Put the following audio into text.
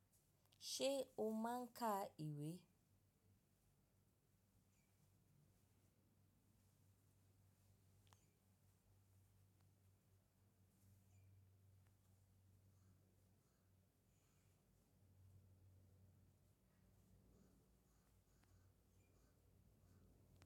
Ṣé o máa ń ka ìwé?